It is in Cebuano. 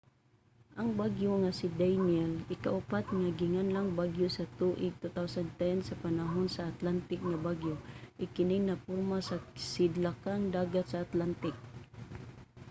ang bagyo nga si danielle ikaupat nga ginganlang bagyo sa tuig 2010 sa panahon sa atlantic nga bagyo ug kini naporma sa sidlakang dagat sa atlantic